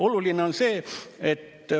Oluline on see ...